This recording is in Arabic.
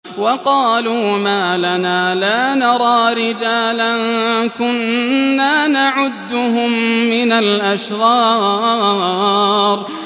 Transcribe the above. وَقَالُوا مَا لَنَا لَا نَرَىٰ رِجَالًا كُنَّا نَعُدُّهُم مِّنَ الْأَشْرَارِ